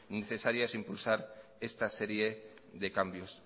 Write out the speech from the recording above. necesarias impulsar esta serie de cambios